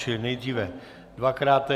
Čili nejdřív dvakrát.